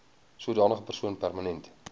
sodanige persoon permanent